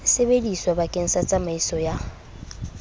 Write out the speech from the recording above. sebediswa bakeng sa tsamaiso ya